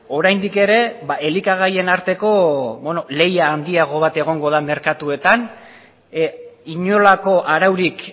oraindik ere elikagaien arteko lehia handiago bat egongo da merkatuetan inolako araurik